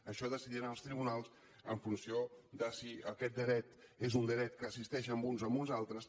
això ho decidiran els tribunals en funció de si aquest dret és un dret que assisteix a uns o uns altres